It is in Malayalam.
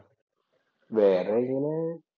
വേറെ ഇങ്ങനെ